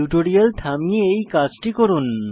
tutorial থামিয়ে এই কাজটি করুন